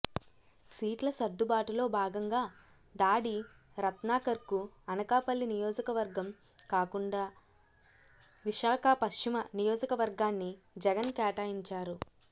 సీట్ల సర్దుబాటులో భాగంగా దాడి రత్నాకర్కు అనకాపల్లి నియోజకవర్గం కాకుండా విశాఖ పశ్చిమ నియోజకవర్గాన్ని జగన్ కేటాయించారు